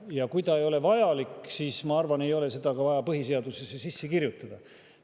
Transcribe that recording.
Ja kui see ei ole vajalik, siis ma arvan, ei ole seda vaja põhiseadusesse sisse kirjutada.